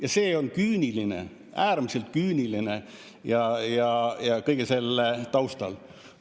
Ja see on küüniline, äärmiselt küüniline kõige selle taustal.